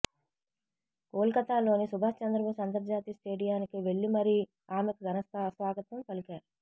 కోల్కతాలోని సుభాష్ చంద్రబోస్ అంతర్జాతీయ స్టేడియానికి వెళ్లి మరీ ఆమెకు ఘన స్వాగతం పలికారు